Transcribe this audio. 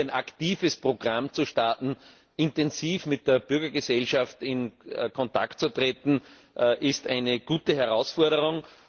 Ich glaube, hier ein aktives Programm zu starten, intensiv mit der Bürgergesellschaft in Kontakt zu treten, ist eine gute Herausforderung.